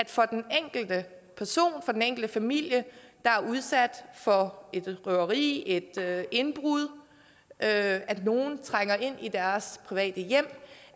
for den enkelte person den enkelte familie der er udsat for et røveri et indbrud at nogle trænger ind i deres private hjem